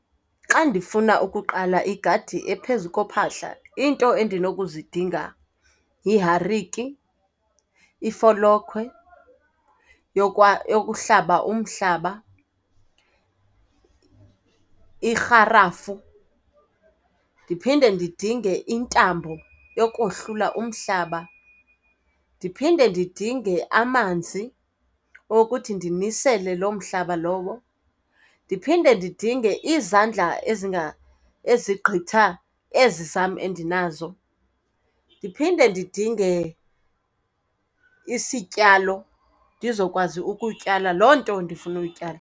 Xa ndifuna ukuqala igadi ephezu kophahla, iinto endinokuzidinga yihariki, ifolokhwe yokuhlaba umhlaba, irharafu. Ndiphinde ndidinge intambo yokohlula umhlaba. Ndiphinde ndidinge amanzi okuthi ndimisele loo mhlaba lowo. Ndiphinde ndidinge izandla ezigqitha ezi zam endinazo. Ndiphinde ndidinge isityalo ndizokwazi ukutyala loo nto ndifuna uyityala.